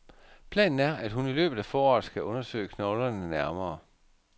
Planen er, at hun i løbet af foråret skal undersøge knoglerne nærmere.